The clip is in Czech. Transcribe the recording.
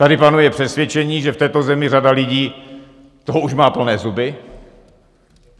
Tady panuje přesvědčení, že v této zemi řada lidí toho už má plné zuby.